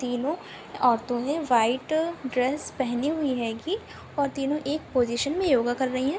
तीनो औरतो ने व्हाइट ड्रेस पहनी हुई है की और तीनो एक पोजिशन मे योगा कर रही है।